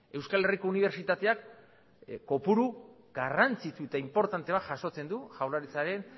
euskal herriko unibertsitateak kopuru garrantzitsu eta inportante bat jasotzen du jaurlaritzaren